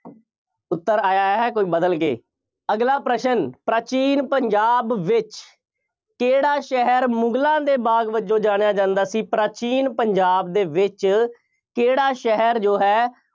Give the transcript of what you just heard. ਉੱਤਰ ਆਇਆ ਹੈ, ਕੁੱਝ ਬਦਲ ਕੇ, ਅਗਲਾ ਪ੍ਰਸ਼ਨ, ਪ੍ਰਾਚੀਨ ਪੰਜਾਬ ਵਿੱਚ ਕਿਹੜਾ ਸ਼ਹਿਰ ਮੁਗਲਾਂ ਦੇ ਬਾਗ ਵਜੋਂ ਜਾਣਿਆ ਜਾਂਦਾ ਸੀ। ਪ੍ਰਾਚੀਨ ਪੰਜਾਬ ਦੇ ਵਿੱਚ ਕਿਹੜਾ ਸ਼ਹਿਰ ਜੋ ਹੈ,